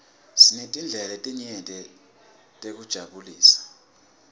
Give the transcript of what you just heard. sinetindlela letinyeti tekutijabulisa